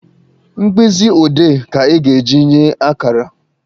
Mkpịsị odee ka a ga-eji enye akara